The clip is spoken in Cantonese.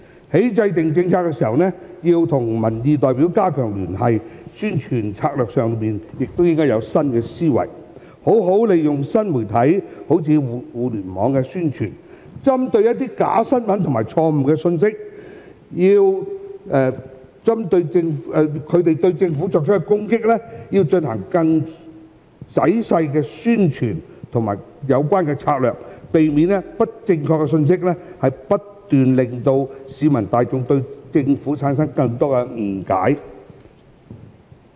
在制訂政策時，要與民意代表加強聯繫，在宣傳策略上亦應該有新思維，好好利用新媒體進行宣傳，針對假新聞和錯誤信息對政府所作攻擊，進行更仔細的宣傳策略，避免不正確信息不斷令市民大眾對政府產生更多誤解。